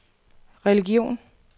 religion